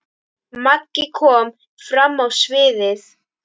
Maggi kom fram á sviðið.